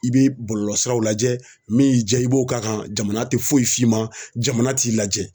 I bɛ bɔlɔlɔsiraw lajɛ min y'i ja i b'o k'a kan jamana tɛ foyi f'i ma jamana t'i lajɛ